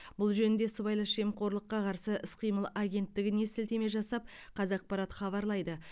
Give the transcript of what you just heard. бұл жөнінде сыбайлас жемқорлыққа қарсы іс қимыл агенттігіне сілтеме жасап қазақпарат хабарлайды